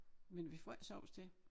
Men vi får ikke sovs til